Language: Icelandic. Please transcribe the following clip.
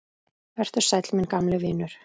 Vertu sæll, minn gamli vinur.